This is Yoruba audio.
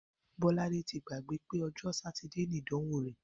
Bó̩ládé ti gbàgbé pé o̩jó̩ Sátidé ni ìdànwó rè̩